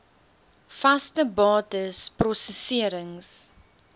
vaste bates prosesserings